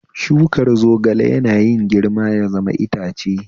Shukar zogale yana yin girma ya zama itace